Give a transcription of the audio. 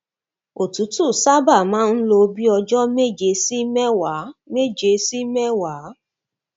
òtútù sábà máa ń lo bí i ọjọ méje sí mẹwàá méje sí mẹwàá